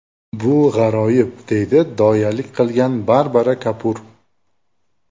Bu g‘aroyib”, – deydi doyalik qilgan Barbara Kapur.